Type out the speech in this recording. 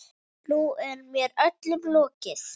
Nú er mér öllum lokið.